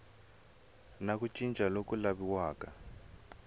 na ku cinca loku laviwaka